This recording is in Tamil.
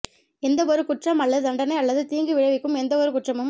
எந்தவொரு குற்றம் அல்லது தண்டனை அல்லது தீங்கு விளைவிக்கும் எந்தவொரு குற்றமும்